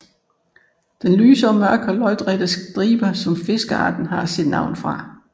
Den har lyse og mørke lodrette striber som fiskearten har sit navn fra